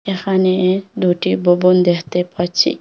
এখানে দুটি ববন দেখতে পাচ্ছি।